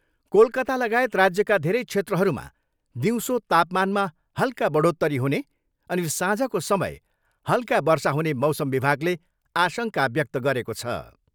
कोलकातालगायत राज्यका धेरै क्षेत्रहरूमा दिउँसो तापमानमा हल्का बढोत्तरी हुने अनि साँझको समय हल्का वर्षा हुने मौसम विभागले आशङ्का व्यक्त गरेको छ।